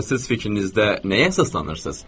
Axı siz fikrinizdə nəyə əsaslanırsız?